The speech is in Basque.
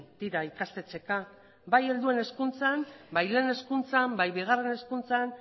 dira ikastetxeka bai helduen hezkuntzan bai lehen hezkuntzan bai bigarren hezkuntzan